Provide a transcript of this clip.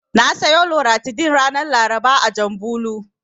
Na siyo Loratadin ranar Laraba a Janbulo.